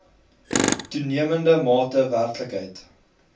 toenemende mate werklikheid